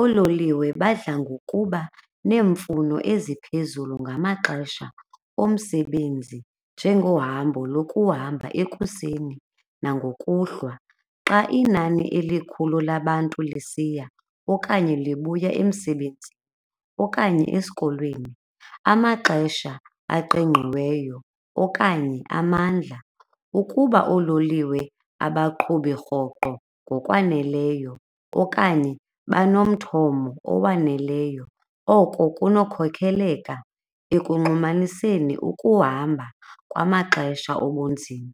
Oololiwe badla ngokuba neemfuno eziphezulu ngamaxesha omsebenzi njengohambo lokuhamba ekuseni nangokuhlwa. Xa inani elikhulu labantu lisiya okanye libuya emsebenzini okanye esikolweni, amaxesha aqengqiweyo okanye amandla. Ukuba oololiwe abaqhubi rhoqo ngokwaneleyo okanye banomthomo owaneleyo oko kunokhokheleka ekunxumaniseni ukuhamba kwamaxesha obunzima.